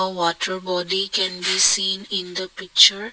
a water body can be seen in the picture.